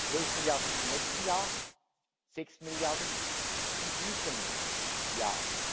zwölf Milliarden im nächsten Jahr, sechs Milliarden in diesem Jahr.